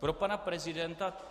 Pro pana prezidenta?